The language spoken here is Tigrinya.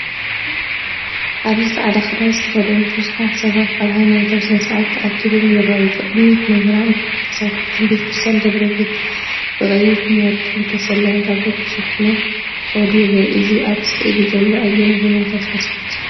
ኣብዚ ጻዕዳ ክዳን ዝተኸድኑ ብዙሓት ሰባት ኣብ ሃይማኖታዊ ስነ-ስርዓት ተኣኪቦም ይረኣዩ። ብቕድሚት መምህራንን ተሳተፍትን ቤተ ክርስቲያን ደብረ ቤት ብቐይሕን ወርቅን ዝተሰለመ ታቦት ተሰኪሞም ክኸዱ ይረኣዩ። እዚ ኣብ ስእሊ ዘሎ ኣየናይ ሃይማኖታዊ ስነ-ስርዓት እዩ?